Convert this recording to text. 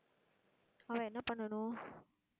ஆனா என்ன பண்ணனும்